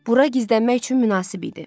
Bura gizlənmək üçün münasib idi.